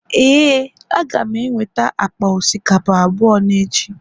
Ee, Aga m enweta akpa osikapa abụọ n'echi